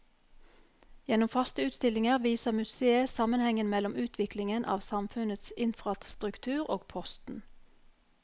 Gjennom faste utstillinger viser museet sammenhengen mellom utviklingen av samfunnets infrastruktur og posten.